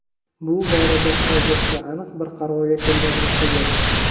bu borada hozircha aniq bir qarorga kelganimcha yo‘q.